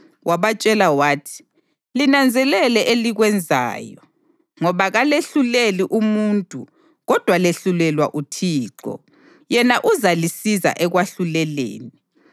Wabatshela wathi: “Linanzelele elikwenzayo, ngoba kalehluleli umuntu kodwa lehlulela uThixo, yena uzalisiza ekwahluleleni.